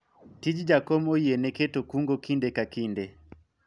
tij jakom oyiene keto kungo kinde ka kinde